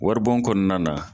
Waribon kɔnɔna na.